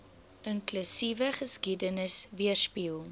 inklusiewe geskiedenis weerspieël